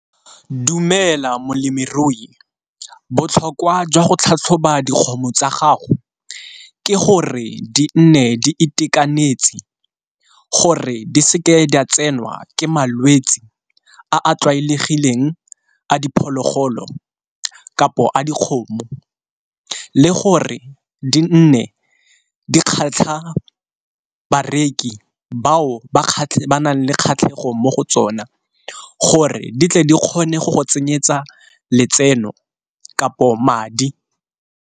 Dumela molemirui botlhokwa jwa go tlhatlhoba dikgomo tsa gago ke gore di nne di itekanetse gore di seke di a tsenwa ke malwetsi a a tlwaelegileng a diphologolo, kapo a dikgomo le gore di nne di kgatlha bareki bao ba nang le kgatlhego mo go tsona gore di tle re kgone go go tsenyeletsa letseno kapo madi.